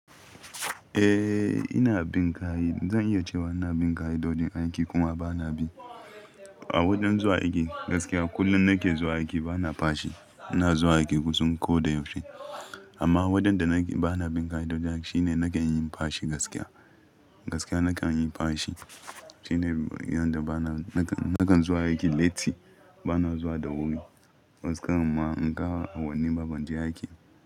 Eh, ina bin kaya. Zan iya cewa ina bin ka'i dodin aiki kuma ba na bi. A wadansu aiki gaskiya kullum nake zuwa aiki ba na fashi. Ina zuwa aiki kusan ko da yaushe. Amma wadanda nake-- ba na bin ka'i dodon aiki shine nakan yi fashi gaskiya. Gaskiya nakan yi fashi shine inda bana-- nakan, nakan zuwa aiki latti, bana zuwa da wuri. Gaskiya amma in ka a wani baban ji aiki.